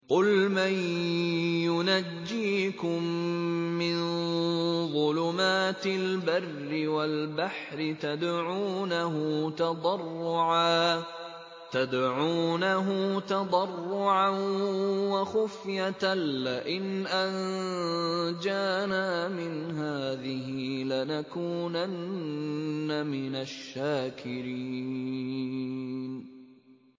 قُلْ مَن يُنَجِّيكُم مِّن ظُلُمَاتِ الْبَرِّ وَالْبَحْرِ تَدْعُونَهُ تَضَرُّعًا وَخُفْيَةً لَّئِنْ أَنجَانَا مِنْ هَٰذِهِ لَنَكُونَنَّ مِنَ الشَّاكِرِينَ